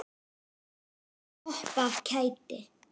Allir hoppa af kæti.